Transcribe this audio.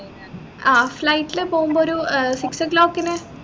ആഹ് flight ൽ പോവുമ്പോ ഒരു ഏർ six o clock നു